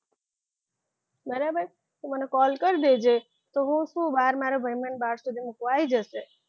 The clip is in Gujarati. બરાબર તો મને call કરજે તો હું શું બાર મારો ભાઈ મને બહાર સુધી મૂકવા આવી જશે.